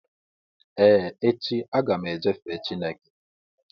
Ee, echi, agam eje fee Chịneke